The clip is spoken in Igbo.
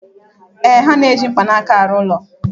Ee, ha na-eji mkpanaka arụ ụlọ